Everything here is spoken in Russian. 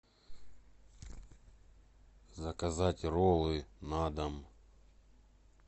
заказать роллы на дом